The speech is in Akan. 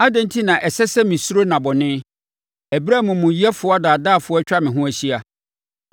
Adɛn enti na ɛsɛ sɛ mesuro nna bɔne, ɛberɛ a amumuyɛfoɔ adaadaafoɔ atwa me ho ahyia,